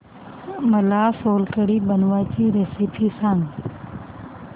मला सोलकढी बनवायची रेसिपी सांग